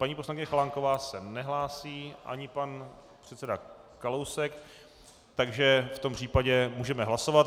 Paní poslankyně Chalánková se nehlásí ani pan předseda Kalousek, takže v tom případě můžeme hlasovat.